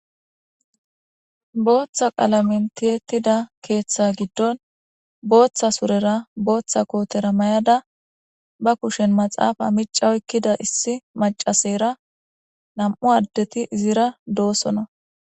booththa qalamentiyettida keeththa giddon booththa surera booththa kootera may7ada ba kushen maxaafa mica oykkida issi macasera nam7u addeti izira doosonna